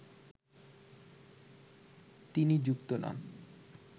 তিনি যুক্ত নন